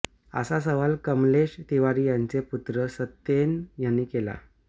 असा सवाल कमलेश तिवारी यांचे पुत्र सत्येन यांनी केला